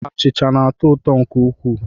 Achịcha na-atọ ụtọ nke ukwuu